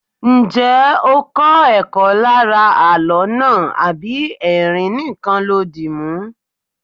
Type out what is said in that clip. Ǹjẹ́ ó kó ẹ̀kọ́ lára àló náà àbí ẹrin nìkan lo dìmú?